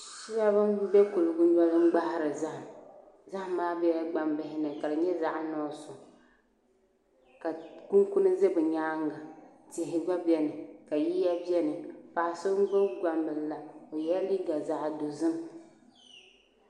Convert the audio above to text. Shab n bɛ kuligi ni gbahari zahama zaham maa biɛla gbambihi ni ka di nyɛ zaɣ nuɣso ka kunikuni ʒɛ bi nyaanga tihi gba biɛni ka yiya biɛni paɣa so n gbubi gbambili la o yɛla liiga zaɣ dozim